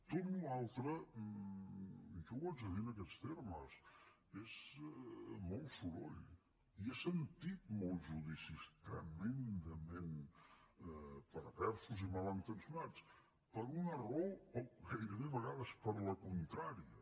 tota la resta jo ho haig de dir en aquests termes és molt soroll i he sentit molts judicis tremendament perversos i malintencionats per una raó o gairebé a vegades per la contrària